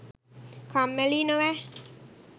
පොදුවේ බලන්න කම්මැලියි නොවැ